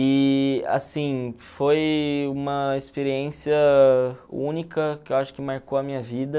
E assim, foi uma experiência única que eu acho que marcou a minha vida.